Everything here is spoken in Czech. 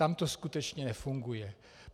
Tam to skutečně nefunguje.